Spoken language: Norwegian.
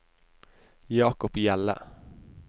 Jacob Hjelle